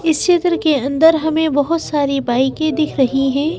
इस चित्र के अंदर हमें बहुत सारी बाइके दिख रही हैं।